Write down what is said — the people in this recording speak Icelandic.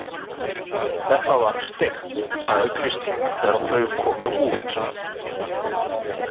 Þetta var steikt, sagði Kristín þegar þau komu út.